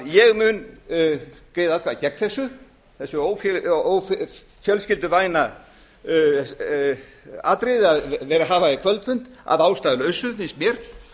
ég mun greiða atkvæði gegn þessu þessu ófjölskylduvæna atriði að vera að hafa kvöldfund að ástæðulausu finnst mér